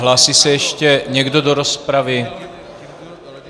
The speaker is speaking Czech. Hlásí se ještě někdo do rozpravy?